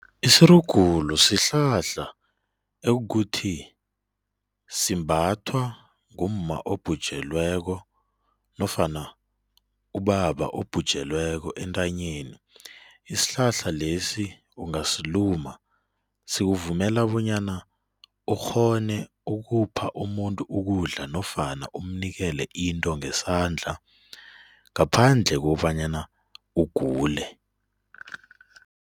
Isirugulu sihlahla ekuthi simbathwa ngumma obhujelweko nofana ubaba obhujelweko entanyeni, isihlahla lesi ungasiluma sikuvumela bonyana ukghone ukupha umuntu ukudla nofana umnikele into ngesandla ngaphandle kobanyana ugule.